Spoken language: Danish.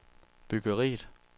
byggeriet